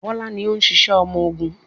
Bọ́lá ni ó ń ṣiṣẹ́ ọmọgun.